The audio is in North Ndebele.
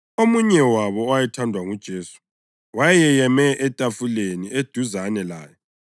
Omunye wabo owayethandwa nguJesu wayeyeme etafuleni eduzane laye.